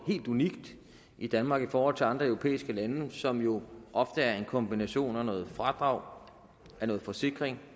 helt unikt i danmark i forhold til andre europæiske lande som jo ofte er en kombination af noget fradrag noget forsikring